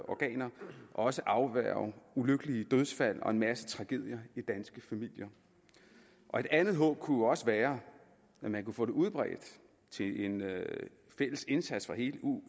organer også afværge uhyggelige dødsfald og en masse tragedier i danske familier et andet håb kunne jo også være at man kunne få det udbredt til en fælles indsats i hele